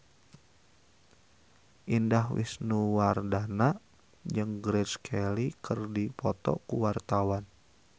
Indah Wisnuwardana jeung Grace Kelly keur dipoto ku wartawan